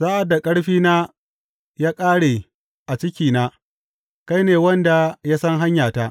Sa’ad da ƙarfina ya kāre a cikina, kai ne wanda ya san hanyata.